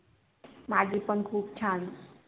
माची पण खूप छांन